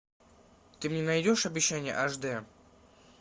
ты мне найдешь обещание аш дэ